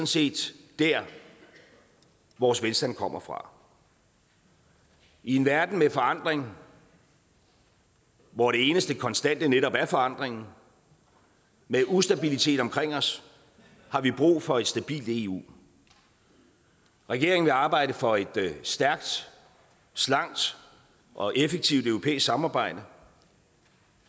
set der vores velstand kommer fra i en verden med forandring hvor det eneste konstante netop er forandringen og med ustabilitet omkring os har vi brug for et stabilt eu regeringen vil arbejde for et stærkt slankt og effektivt europæisk samarbejde